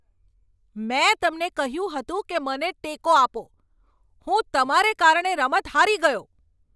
મેં તમને કહ્યું હતું કે મને ટેકો આપો! હું તમારે કારણે રમત હારી ગયો!